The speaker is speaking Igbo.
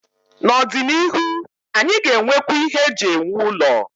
N'ọdịnihu, anyị ga-enwekwu ihe eji ewu ụlọ.